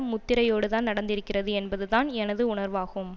முத்திரையோடுதான் நடந்திருக்கிறது என்பதுதான் எனது உணர்வாகும்